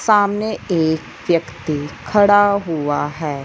सामने एक व्यक्ति खड़ा हुआ हैं।